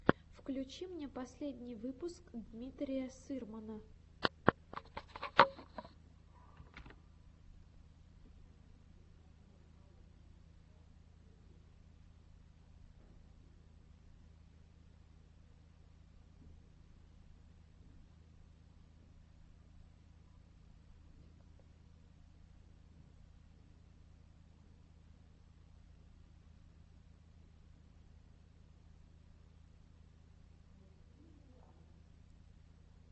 включи мне последний выпуск дмитрия сырмана